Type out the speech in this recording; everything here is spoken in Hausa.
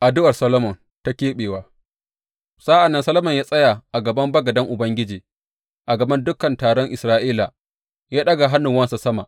Addu’ar Solomon ta keɓewa Sa’an nan Solomon ya tsaya a gaban bagaden Ubangiji a gaban dukan taron Isra’ila ya ɗaga hannuwansa sama.